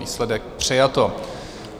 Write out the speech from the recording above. Výsledek: přijato.